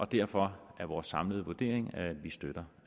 derfor er vores samlede vurdering at vi støtter